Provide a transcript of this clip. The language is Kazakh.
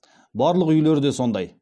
барлық үйлер де сондай